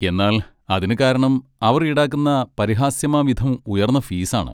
എന്നാൽ അതിനു കാരണം അവർ ഈടാക്കുന്ന പരിഹാസ്യമാംവിധം ഉയർന്ന ഫീസാണ്